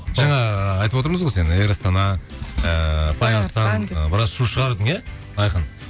жаңа ыыы айтып отырмыз ғой сені эйр астана ыыы флай арыстан деп біраз шу шығардың иә айқын